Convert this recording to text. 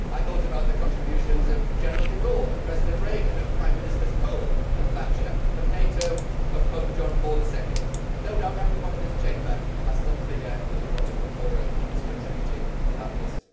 I thought about the contributions of General de Gaulle, President Reagan, Prime Ministers Kohl and Thatcher, NATO, and Pope Jean Paul II. No doubt everyone in this Chamber has some figure that they want to put forward as contributing to that list.